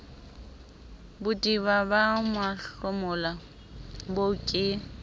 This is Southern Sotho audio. bodiba ba mahlomola boo ke